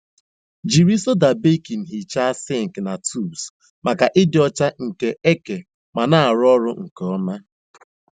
Jiri soda baking hichaa sink na tubs maka ịdị ọcha nke eke ma na-arụ ọrụ nke ọma.